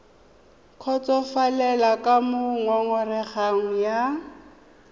kgotsofalele ka moo ngongorego ya